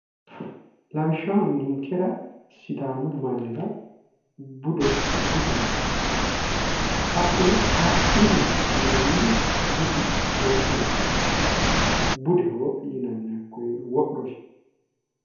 laawishaho ninkera sidamu maanira budu nonke hakkuno affini yinanihu budu nonke manati budeho yinani hakkone wodho yinani.